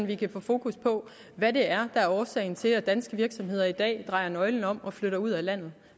vi kan få fokus på hvad det er der er årsag til at danske virksomheder i dag drejer nøglen om og flytter ud af landet